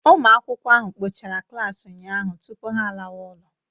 Ụmụ akwụkwọ ahụ kpọchara klaasị ụnyahụ tupu ha alawa ụlọ